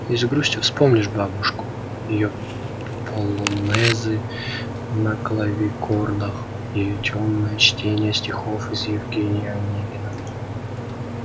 и с грустью вспомнишь бабушку её полонезы на клавикордах её тёмное чтение стихов из евгения онегина